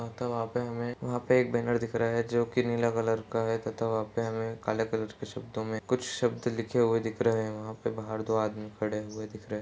तथा वहाँ पे हमें वहाँ पे एक बैनर दिख रहा हैं जोकि नीले कलर का है तथा वहां पे हमें काले कलर के शब्दों में कुछ शब्द लिखे हुए दिख रहे हैं। वहा पे बाहर दो आदमी खड़े हुए दिख रहे हैं।